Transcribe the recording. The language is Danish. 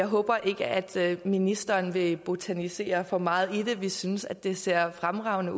håber ikke at ministeren vil botanisere for meget i det vi synes at det ser fremragende